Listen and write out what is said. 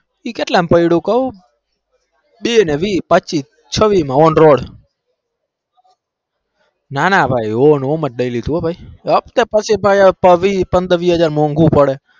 એ કેટલામ પડયું કઉ બે ન વીસ પચીસ સવિસ માં નાના નામ જ નઈ લીધું હપ્તે બેવ મોગું પડે